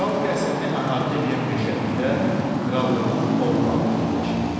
Kral qəsrini əhatə eləyən meşəlikdə krallığın ov bağı yerləşirdi.